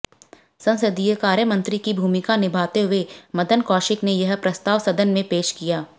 संसदीय कार्यमंत्री की भूमिका निभाते हुए मदन कौशिक ने यह प्रस्ताव सदन में पेश किया